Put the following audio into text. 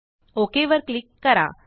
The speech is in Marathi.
ओक वर क्लिक करा